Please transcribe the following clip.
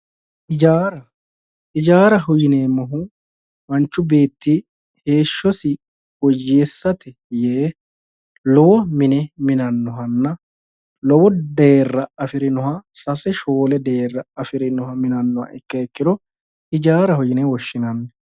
Hijaara, hijaara yineemmohu manchu beetti heeshshosi woyyessate yee lowo mine minanohanna lowo deerra afirinoha sase shoole deera afirinoha minanoha ikkiha ikkiro hijaaraho yinne woshshinanni.